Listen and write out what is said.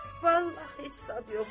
Vallah, heç zad yoxdur.